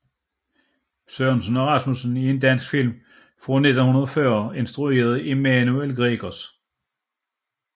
Sørensen og Rasmussen er en dansk film fra 1940 instrueret af Emanuel Gregers